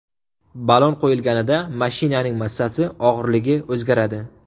Ballon qo‘yilganida mashinaning massasi, og‘irligi o‘zgaradi.